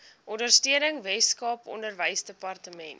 ondersteuning weskaap onderwysdepartement